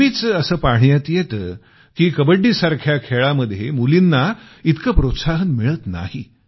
नेहमीच असं पाहण्यात येतं की कबड्डीसारख्या खेळामध्ये मुलीना इतकं प्रोत्साहन मिळत नाही